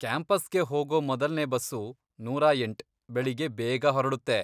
ಕ್ಯಾಂಪಸ್ಗೆ ಹೋಗೋ ಮೊದಲ್ನೇ ಬಸ್ಸು ನೂರಾ ಎಂಟ್, ಬೆಳಗ್ಗೆ ಬೇಗ ಹೊರಡುತ್ತೆ.